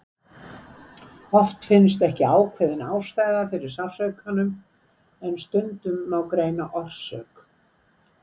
Oft finnst ekki ákveðin ástæða fyrir sársaukanum en stundum má greina orsök.